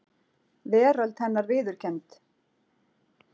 Veröld hennar viðurkennd.